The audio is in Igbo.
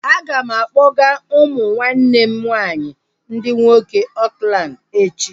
A ga m akpọga umu nwanne m nwaanyị ndị nwoke Oakland echi